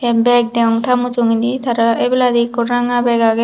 bag degong ta mujungedi tara ebeladi ikko ranga bag agey.